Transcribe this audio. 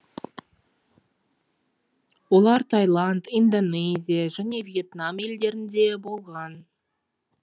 олар тайланд индонезия және вьетнам елдерінде болған